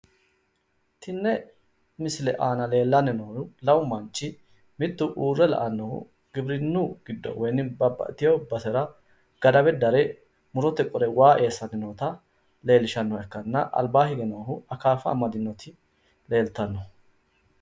Tini misile leellishanohu giwirinnu giddo mittu loosasinchu beetti waa dare bohe qolanni noottati